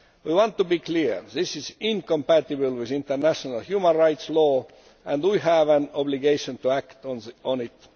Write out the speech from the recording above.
We want to be clear this is incompatible with international human rights law and we have an obligation to act on it.